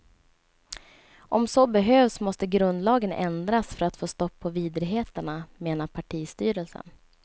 Om så behövs måste grundlagen ändras för att få stopp på vidrigheterna, menar partistyrelsen.